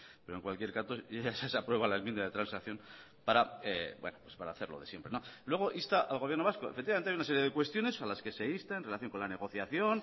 pero en cualquier caso se aprueba la enmienda de transacción para hacer lo de siempre no luego insta al gobierno vasco efectivamente hay una serie de cuestiones a las que se insta en relación con la negociación